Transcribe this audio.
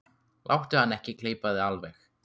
Láttu hann ekki gleypa þig alveg!